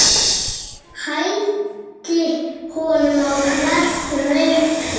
Hældi honum á hvert reipi.